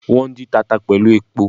Wón dín tata pẹ̀lú epo